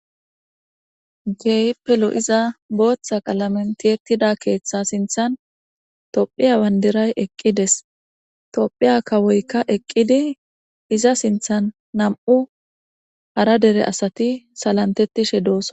geyppelo iza booththa qalamentietida keeththa sinthan tophiya wandiray eqqides tophiya kawoykka eqqidi iza sinthan nam7u hara dere asati salantettishe doos